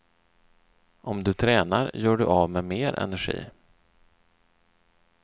Om du tränar gör du av med mer energi.